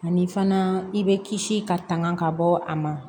Ani fana i bɛ kisi ka tanga ka bɔ a ma